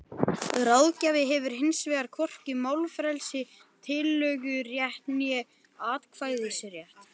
Ráðgjafi hefur hins vegar hvorki málfrelsi, tillögurétt né atkvæðisrétt.